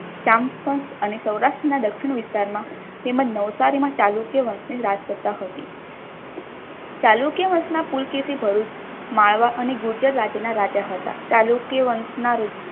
ચંપક અને સૌરાષ્ટ્રના દક્ષિણ વિસ્તારમાં તેમજ નવસારીમાં ચાલુ વર્ષની સ્થાપના હતી ચાલુક્ય વંશના પુલકેશી ભરૂચ માળવા અને ગુજરાત રાજ્યના રાજા હતા ચાલુક્ય વંશના